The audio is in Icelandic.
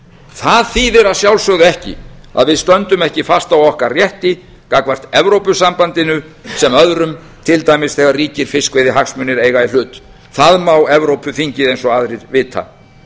það þýðir að sjálfsögðu ekki að við stöndum ekki fast á okkar rétti gagnvart evrópusambandinu sem öðrum til dæmis þegar ríkir fiskveiðihagsmunir eiga í hlut það má evrópuþingið eins og aðrir vita